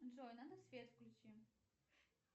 джой надо свет включи